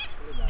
Yoxdur.